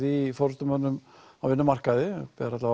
í forystumönnum á vinnumarkaði það ber